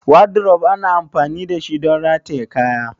Wardrobe ana amfani dashi don rataye kaya.